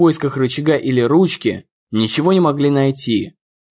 поисках рычага или ручки ничего не могли найти